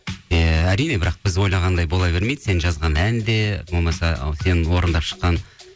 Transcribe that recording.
ыыы әрине бірақ біз ойлағандай бола бермейді сен жазған ән де болмаса сен орындап шыққан